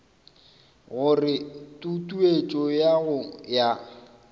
gore tutuetšo ya go ya